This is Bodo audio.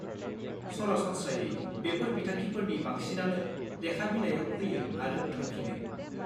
सरासनस्रायै, बेफोर बिथांखिफोरनि बांसिनानो लेखा बिलाइयाव फैयो आरो थांफिनो।